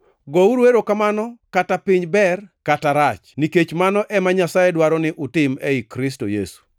gouru erokamano kata piny ber kata rach, nikech mano ema Nyasaye dwaro ni utim ei Kristo Yesu.